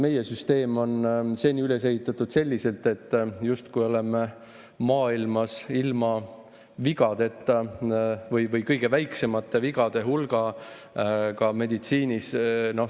Meie süsteem on seni üles ehitatud selliselt, justkui meie meditsiin oleks ilma vigadeta või maailmas kõige väiksema vigade hulgaga.